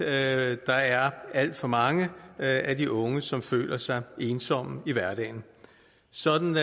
at der er alt for mange af de unge som føler sig ensomme i hverdagen sådan